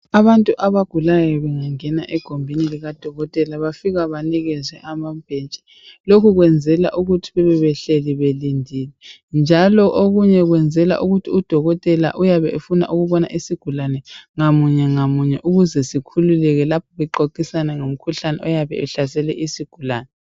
Abantu abagulayo bengangena egumbini likadokotela bafika banikezwe amabhentshi. Lokhu kwenzelwa ukuthi bebe behleli belindile njalo okunye kwenzela ukuthi udokotela uyabe efuna ukubona isigulane ngamunye ngamunye ukuze sikhululeke lapho bexoxisana ngomkhuhlane oyabe uhlasele isigulane..